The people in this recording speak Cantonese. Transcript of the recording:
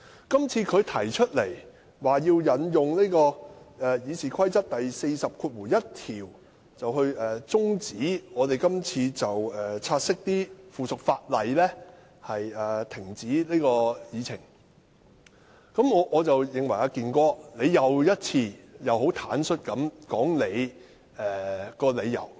"健哥"今次引用《議事規則》第401條，就察悉附屬法例的議案動議中止待續議案，再一次坦率說出背後的理由。